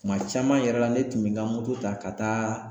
Kuma caman yɛrɛ la ne tun bɛ n ka moto ta ka taa.